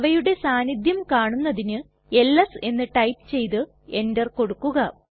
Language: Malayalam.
അവയുടെ സാന്നിധ്യം കാണുന്നതിനു എൽഎസ് എന്ന് ടൈപ്പ് ചെയ്ത് എന്റർ കൊടുക്കുക